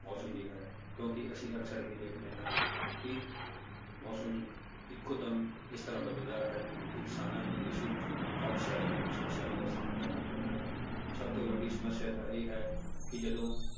ਮੌਸਮ ਦੀ ਹੈ, ਕਿਉਂਕਿ ਅਸੀਂ ਅਕਸਰ ਹੀ ਦੇਖਦੇ ਹਾਂ ਕਿ ਮੌਸਮ ਇੱਕੋ ਦਮ ਇਸ ਤਰ੍ਹਾਂ ਬਦਲਦਾ ਹੈ ਕਿ ਕਿਸਾਨਾਂ ਨੂੰ ਇਸ ਵਿੱਚ ਕਾਫ਼ੀ ਸਾਰੀਆਂ ਸਮੱਸਿਆਵਾਂ ਦਾ ਸਾਹਮਣਾ ਕਰਨਾ ਪੈਂਦਾ ਹੈ, ਸਭ ਤੋਂ ਵੱਡੀ ਸਮੱਸਿਆ ਤਾਂ ਇਹ ਹੈ ਕਿ ਜਦੋਂ